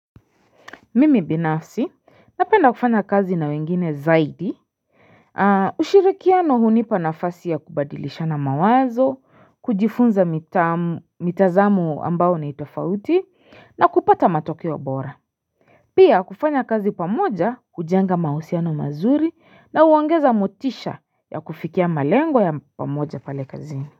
Mimi binafsi napenda kufanya kazi na wengine zaidi ushirikiano hunipa nafasi ya kubadilisha na mawazo kujifunza mitazamu ambao na itofauti na kupata matokeo wa bora pia kufanya kazi pamoja kujenga mausiano mazuri na uangeza motisha ya kufikia malengo ya pamoja pale kazi.